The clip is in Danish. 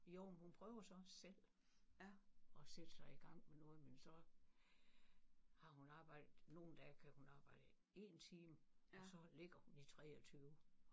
Jo men hun prøver sådan selv at sætte sig i gang med noget men så har hun arbejdet nogle dage kan hun arbejde én time og så ligger hun i 23